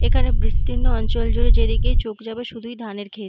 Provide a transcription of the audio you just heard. এখানে বিস্তীর্ণ অঞ্চল জুড়ে যেদিকেই চোখ যাবে শুধুই ধানের ক্ষেত।